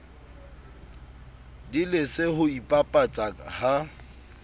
di lese ho ipapatsa ha